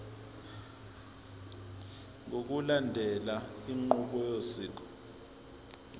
ngokulandela inqubo yosiko